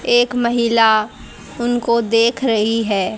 एक महिला उनको देख रही है।